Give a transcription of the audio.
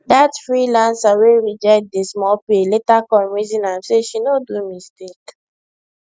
that freelancer wey reject the small pay later come reason am say she no do mistake